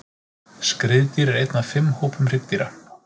Skriðdýr er einn af fimm hópum hryggdýra.